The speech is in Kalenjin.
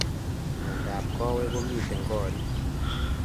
Miondo ap kawek komitei korik